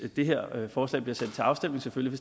det her forslag bliver sendt til afstemning selvfølgelig